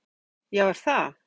Kolbeinn Ketilsson: Já, er það?